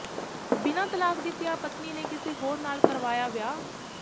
ਬਿਨਾਂ ਤਲਾਕ ਦਿੱਤਿਆਂ ਪਤਨੀ ਨੇ ਕਿਸੇ ਹੋਰ ਨਾਲ ਕਰਵਾਇਆ ਵਿਆਹ